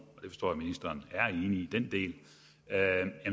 og at ministeren er enig i den del